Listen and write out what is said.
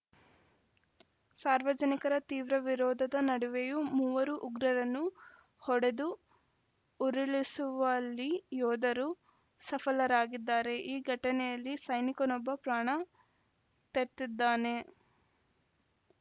ಸಾರ್ವಜನಿಕರ ತೀವ್ರ ವಿರೋಧದ ನಡುವೆಯೂ ಮೂವರು ಉಗ್ರರನ್ನು ಹೊಡೆದು ಉರುಳಿಸುವಲ್ಲಿ ಯೋಧರು ಸಫಲರಾಗಿದ್ದಾರೆ ಈ ಘಟನೆಯಲ್ಲಿ ಸೈನಿಕನೊಬ್ಬ ಪ್ರಾಣ ತೆತ್ತಿದ್ದಾನೆ